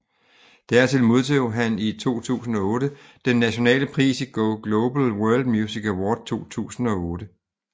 Dertil modtog han i 2008 den nationale pris i Go Global World Music Award 2008